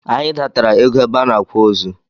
Anyị datara égo ebe a n'akwa ozu.